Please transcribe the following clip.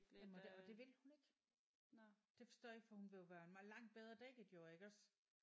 Jamen det og det vil hun ikke. Det forstår jeg ikke for hun vil jo være mere langt bedre dækket jo iggås